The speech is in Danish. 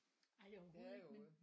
Ej det overhovedet ikke men